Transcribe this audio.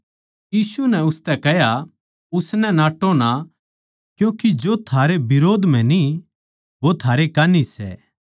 यीशु नै उसतै कह्या उसनै नाट्टो ना क्यूँके जो थारै बिरोध म्ह न्ही वो थारै कान्ही सै